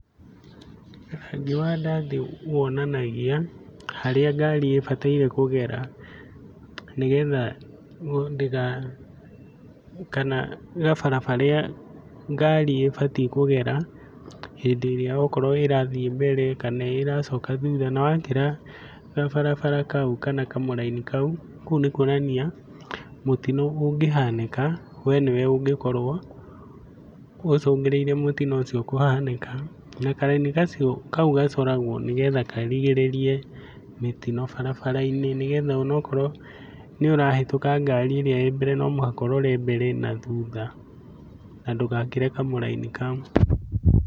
Rangi wa ndathi wonanagia, harĩa ngari ĩbataire kũgera nĩ getha kana gabara karĩa ngari ĩbatiĩ kũgera hĩndĩ ĩrĩa okorwo irathiĩ mbere kana ĩracoka thutha. Na wakĩra gabarabara kau kana kamũraini kau, kũu nĩkwonania mũtino ũngĩhanĩka we nĩ we ũngĩkorwo ũcũngĩrĩirie mũtino ũcio kũhanĩka. Na karaini kau gacoragwo nĩ getha karigĩrĩrie mitino barabara-inĩ, ni getha onokorwo nĩũrahĩtũka ngari ĩrĩa ĩĩ mbere no mũhaka ũrore mbere na thutha, na ndũgakĩre kamũraini kau.